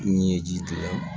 Min ye ji to yen